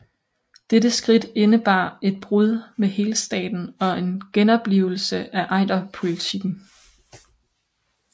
Dette skridt indebar et brud med helstaten og en genoplivelse af Ejderpolitikken